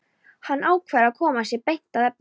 Hann ákveður að koma sér beint að efninu.